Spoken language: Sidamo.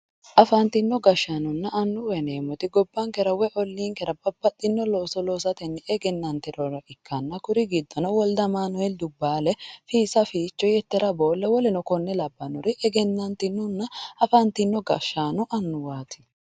afantino gashshaanonna annuwa yineemmoti gobbankera woyi olliinkera babbaxino loso loosatenni egennantinore ikanna kuri giddono wolde amanueeli dubbaale fiissa ficho yettera boole woleno konne labbannori egennantinonna afantino gashshaanonna annuwaatti